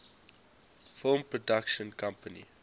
film production company